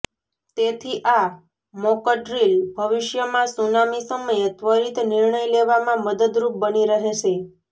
તેથી આ મોકડ્રીલ ભવિષ્યમાં સુનામી સમયે ત્વરિત નિર્ણય લેવામાં મદદરૂપ બની રહેશે